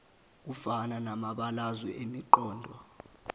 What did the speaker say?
afana namabalazwe emiqondo